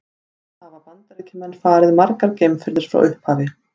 Hvað hafa Bandaríkjamenn farið margar geimferðir frá upphafi?